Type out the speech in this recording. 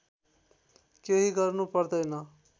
केही गर्नु पर्दैन